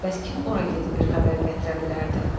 Bəs kim ora gedib bir xəbər gətirə bilərdi?